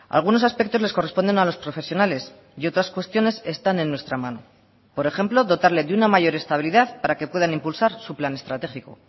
algunos aspectos les corresponden a los profesionales y otras cuestiones están en nuestra mano por ejemplo dotarle de una mayor estabilidad para que puedan impulsar su plan estratégico